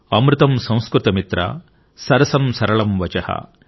అమృతం సంస్కృత మిత్ర సరసం సరళం వచః |